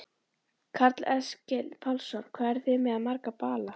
Karl Eskil Pálsson: Hvað eruð þið með marga bala?